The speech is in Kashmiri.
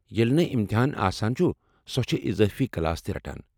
ییٚلہِ نہٕ امتحان آسن چُھ سۄ چھےٚ اضٲفی کلاس تہ رٹان۔